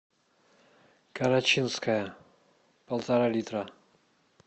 карачинская полтора литра